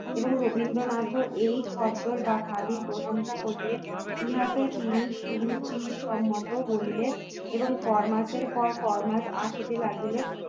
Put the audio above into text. এবং রবীন্দ্রনাথও এই খদ্দর বা খাদি প্রশংসা করলেন ইহাতে তিনি সুরুচিসম্মত করিলে এবং ফর মাসের পর ফরমাস আসিতে লাগিল